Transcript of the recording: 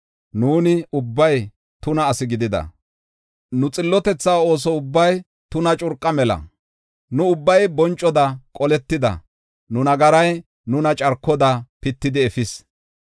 Nuuni ubbay tuna asi gidida; nu xillotetha ooso ubbay tuna curqa mela. Nu ubbay boncoda qoletida; nu nagaray nuna carkoda pitidi efis.